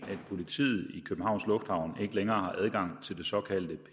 politiet i københavns lufthavn ikke længere har adgang til det såkaldte